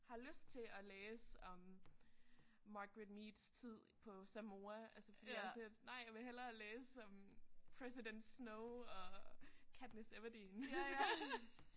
Har lyst til at læse om Margaret Meads tid på Samoa altså fordi jeg er sådan lidt nej jeg vil hellere læse om president Snow og Katniss Everdeen altså